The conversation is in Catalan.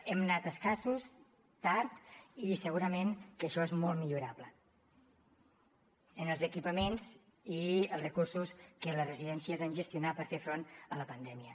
hem anat escassos tard i segurament que això és molt millorable en els equipaments i els recursos que les residències han gestionat per fer front a la pandèmia